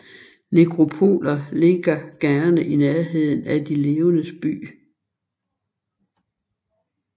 Nekropoler ligger gerne i nærheden af de levendes by